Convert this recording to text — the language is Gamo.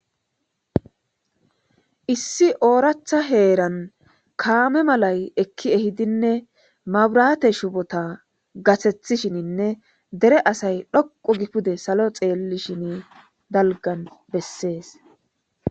Issi ooratha heeran kaame malay ekki ehidinne maburate shubota gathethishinne dere asay dhoqqu giidi pude salo xeelishin dalgan besees.